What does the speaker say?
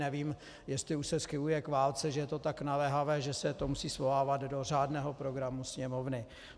Nevím, jestli už se schyluje k válce, že je to tak naléhavé, že se to musí svolávat do řádného programu Sněmovny.